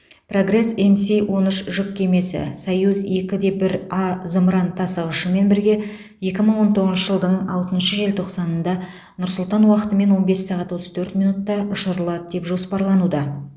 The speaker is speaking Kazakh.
прогресс мс он үш жүк кемесі союз екі де бір а зымыран тасығышымен бірге екі мың он тоғызыншы жылдың алтыншы желтоқсанында нұр сұлтан уақытымен он бес сағат отыз төрт минутта ұшырылады деп жоспарлануда